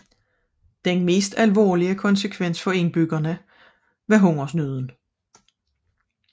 Den alvorligste konsekvens for indbyggerne var hungersnøden